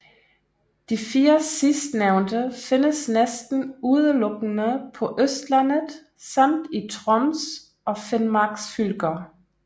De 4 sidstnævnte findes næsten udelukkende på Østlandet samt i Troms og Finmarks fylker